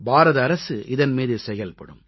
பாரத அரசு இதன் மீது செயல்படும்